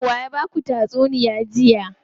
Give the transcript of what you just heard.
Waye ya baku tatsuniya jiya.